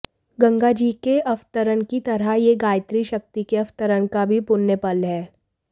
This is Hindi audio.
गंगाजी के अवतरण की तरह यह गायत्री शक्ति के अवतरण का भी पुण्य पल है